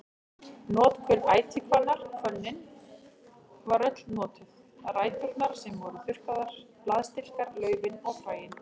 Notkun ætihvannar Hvönnin var öll notuð, ræturnar sem voru þurrkaðar, blaðstilkar, laufið og fræin.